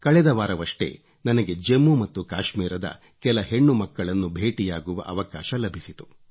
ಕಳೆದ ವಾರವಷ್ಟೇ ನನಗೆ ಜಮ್ಮು ಮತ್ತು ಕಾಶ್ಮೀರದ ಕೆಲ ಹೆಣ್ಣುಮಕ್ಕಳನ್ನು ಭೇಟಿಯಾಗುವ ಅವಕಾಶ ಅಭಿಸಿತು